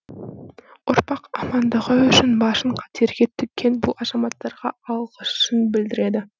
ұрпақ амандығы үшін басын қатерге тіккен бұл азаматтарға алығысын білдірді